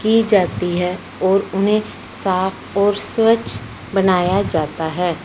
की जाती है और उन्हें साफ और स्वच्छ बनाया जाता है।